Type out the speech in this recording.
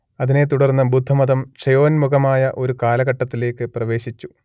അതിനെ തുടർന്ന് ബുദ്ധമതം ക്ഷയോന്മുഖമായ ഒരു കാലഘട്ടത്തിലേക്ക് പ്രവേശിച്ചു